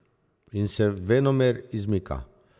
In se venomer izmika.